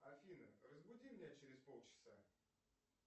афина разбуди меня через полчаса